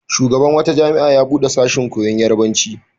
Shugaban wata jami'a ya buɗe sashen koyon Yarabanci.